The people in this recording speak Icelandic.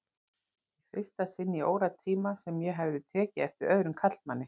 Í fyrsta sinn í óratíma sem ég hafði tekið eftir öðrum karlmanni.